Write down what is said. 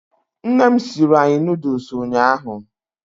Nne m siiri anyị nuduls ụnyaahụ.